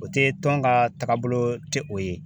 O tɛ tɔn ka taagabolo tɛ o ye.